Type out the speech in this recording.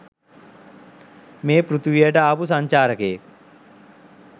මේ පෘතුවියට ආපු සංචාරකයෙක්.